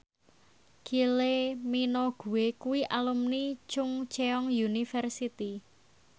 Kylie Minogue kuwi alumni Chungceong University